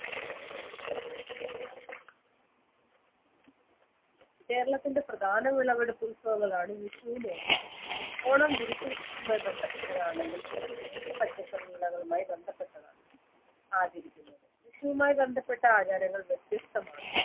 കേരളത്തിൻറെ പ്രധാന വിളവെടുപ്പ് ഉത്സവങ്ങളാണ് വിഷുവും ഓണവും ഓണം വിരിപ്പ് കൃഷിയുമായി ബന്ധപ്പെട്ട് ആണെങ്കിൽ വിഷു വേനൽ പച്ചക്കറിവിളകളുമായി ബന്ധപ്പെട്ടതാണ് ആചരിക്കുന്നത് വിഷമവുമായി ബന്ധപ്പെട്ട ആചാരങ്ങൾ വ്യത്യസ്തമാണ്